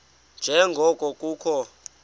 nje ngoko kukho